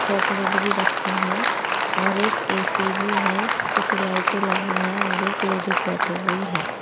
Chocolate भी रखे हैं और एक ए_सी भी है कुछ लाइटें लगी है और एक लेडिस बैठी हुई हैं।